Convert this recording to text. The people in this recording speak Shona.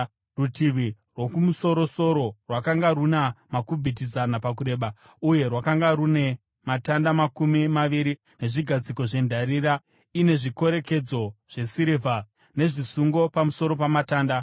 Rutivi rwokumusorowo rwakanga runa makubhiti zana pakureba uye rwakanga rune matanda makumi maviri nezvigadziko zvendarira, ine zvikorekedzo zvesirivha nezvisungo pamusoro pamatanda.